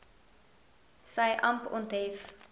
sy amp onthef